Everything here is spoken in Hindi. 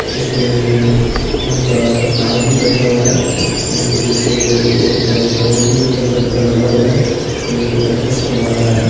इसमें उनका उस्ताद भी बैठा हुआ है जिसके पीछे एक बोर्ड भी नीले कलर का लगा हुआ है जो इनको प्रैक्टिस करवा रहा है।